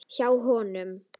Hjá honum.